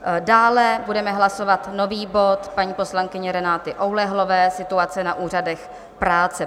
Dále budeme hlasovat nový bod paní poslankyně Renaty Oulehlové Situace na úřadech práce.